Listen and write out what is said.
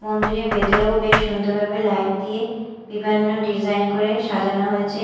মন্দিরের ভেতরেও বেশ সুন্দরভাবে লাইট দিয়ে বিভিন্ন ডিজাইন করে সাজানো হয়েছে।